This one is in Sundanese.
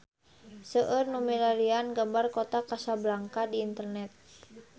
Seueur nu milarian gambar Kota Kasablanka di internet